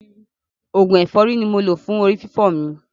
Oògùn ẹ̀fọ́rí ni mo lò fún orí fífọ́ mi.